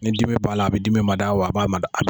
Ni dimi b'a la a bi dimi mada wa a b'a mada.